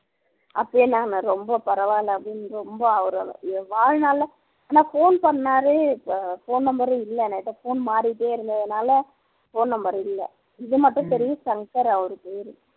அப்படியாண்ணா ரொம்ப பரவாயில்ல அப்படின்னு ரொம்ப அவர வாழ்நாள்ல ஆனா phone பண்ணார் இப்ப phone number ரும் இல்ல எங்கிட்ட phone மாறிகிட்டே இருந்ததுனால phone number இல்ல இதுமட்டும் தெரியும் சங்கர் அவர் பேர்